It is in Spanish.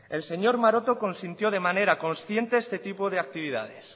el señor maroto consistió de manera consciente este tipo de actividades